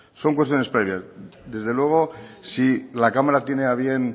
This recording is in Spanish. son cuestiones previas desde luego si la cámara tiene a bien